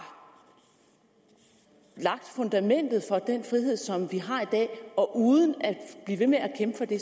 lagt fundamentet for den frihed som vi har i dag og uden at blive ved med at kæmpe for det